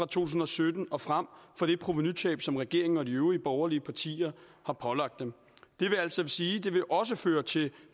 tusind og sytten og frem for det provenutab som regeringen og de øvrige borgerlige partier har pålagt dem det vil altså sige at det også vil føre til